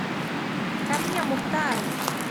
ко мне мухтар